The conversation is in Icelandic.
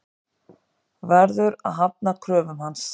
Verður að hafna kröfum hans.